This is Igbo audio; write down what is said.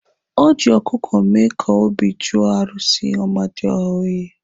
O ji ọkụkụ mee ka obi jụọ arụsị amadioha oyi.